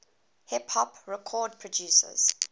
hip hop record producers